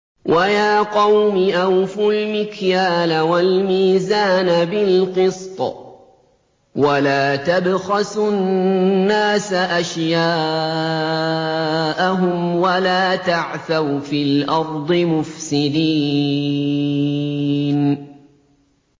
وَيَا قَوْمِ أَوْفُوا الْمِكْيَالَ وَالْمِيزَانَ بِالْقِسْطِ ۖ وَلَا تَبْخَسُوا النَّاسَ أَشْيَاءَهُمْ وَلَا تَعْثَوْا فِي الْأَرْضِ مُفْسِدِينَ